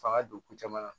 Fa ka don ko caman na